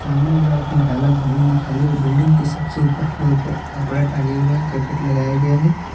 सामने वाला तीन ताला बिल्डिंग दिखाई दे रहा है बिल्डिंग के सबसे ऊपर फ्लोर पर कपड़ा टांगे हुए हैं करकट लगाए गए हैं।